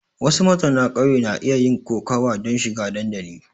Wasu mazauna ƙauyen na iya yin kokawa don shiga dandali.